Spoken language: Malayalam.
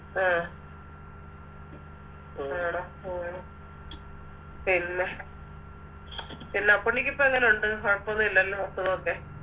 ആ ആണോ ഓ പിന്നെ പിന്നാപ്പുണ്ണിക്ക് ഇപ്പൊ എങ്ങനൊണ്ട് കൊഴപ്പോന്നുല്ലല്ലോ അസുഖോക്കെ